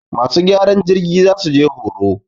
masu gyaran jirgi za su je horo.